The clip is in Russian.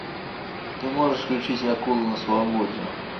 ты можешь включить акулы на свободе